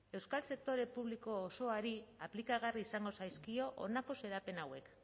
euskal sektore publiko osoari aplikagarria izango zaizkio honako xedapen hauek